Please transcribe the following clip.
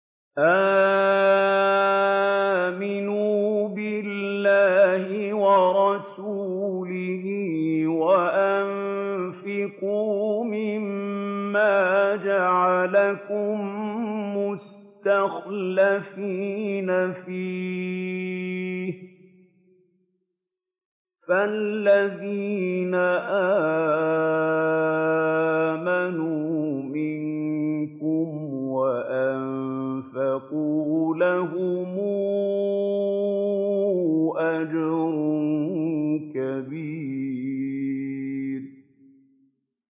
آمِنُوا بِاللَّهِ وَرَسُولِهِ وَأَنفِقُوا مِمَّا جَعَلَكُم مُّسْتَخْلَفِينَ فِيهِ ۖ فَالَّذِينَ آمَنُوا مِنكُمْ وَأَنفَقُوا لَهُمْ أَجْرٌ كَبِيرٌ